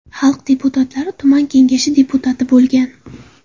Xalq deputatlari tuman kengashi deputati bo‘lgan.